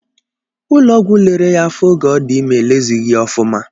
Ụlọ ọgwụ lere ya afọ oge ọ dị ime elezịghị ya ọfụma.